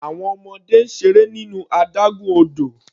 Àwọn ọmọdé ń seré nínú adágún odò.